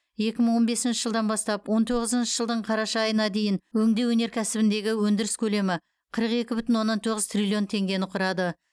екі мың он бесінші жылдан бастап он тоғызыншы жылдың қараша айына дейін өңдеу өнеркәсібіндегі өндіріс көлемі қырық екі бүтін оннан тоғыз триллион теңгені құрады